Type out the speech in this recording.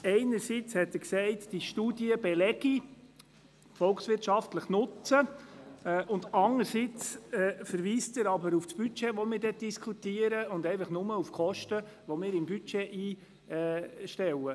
Einerseits hat er gesagt, diese Studie belege den volkswirtschaftlichen Nutzen, andererseits verweist er auf das Budget, das wir diskutieren werden, und er verweist nur auf die Kosten, die wir im Budget einstellen.